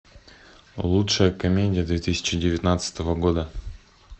лучшая комедия две тысячи девятнадцатого года